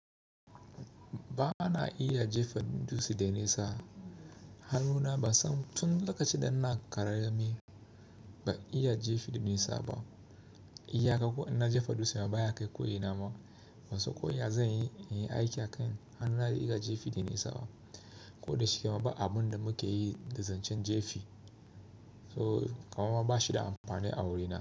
Ba ana iya jefa dutse da nisa. Hannuna ba sa tun lokacin da na karami. Ba iya jefa da nisa ba. Iya ka ko in na jefa dutse ma ba ya kai koyi na ma. Ba so koyi a zai yi aiki a kan hannuna da iya jefa da nesa ba. Ko da shiga ma ba abun da muke yi da zancen jefe. So ka ma ba shi da amfani a wurina.